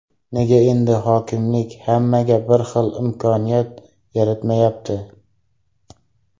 Nega endi hokimlik hammaga bir xil imkoniyat yaratmayapti?